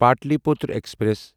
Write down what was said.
Pataliputra express